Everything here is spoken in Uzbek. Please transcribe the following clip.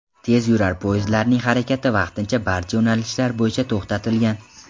Tezyurar poyezdlarning harakati vaqtincha barcha yo‘nalishlar bo‘yicha to‘xtatilgan.